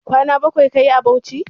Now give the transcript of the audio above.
Kwana bakwai kayi a Bauchi?